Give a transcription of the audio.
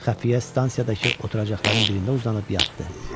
Xəfiyyə stansiyadakı oturacaqların birində uzanıb yatdı.